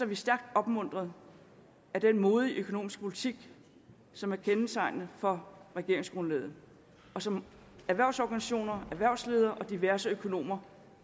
vi stærkt opmuntrede af den modige økonomiske politik som er kendetegnende for regeringsgrundlaget og som erhvervsorganisationer erhvervsledere og diverse økonomer